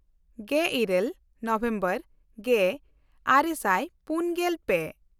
ᱜᱮᱞᱤᱨᱟᱹᱞ ᱱᱚᱵᱷᱮᱢᱵᱚᱨ ᱜᱮᱼᱟᱨᱮ ᱥᱟᱭ ᱯᱩᱱᱜᱮᱞ ᱯᱮ